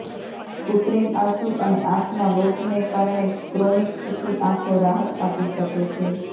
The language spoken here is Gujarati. કૃત્રિમ આંસુ અને આંખના લોટને કારણે ક્રોનિક સૂકી આંખો રાહત આપી શકે છે